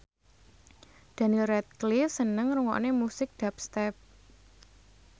Daniel Radcliffe seneng ngrungokne musik dubstep